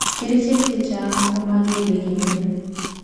kerichek chechang komagele gimen